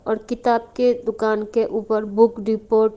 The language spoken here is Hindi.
और किताब के दुकान के ऊपर बुक रिपोर्ट --